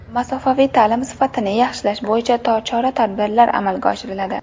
Masofaviy ta’lim sifatini yaxshilash bo‘yicha chora-tadbirlar amalga oshiriladi.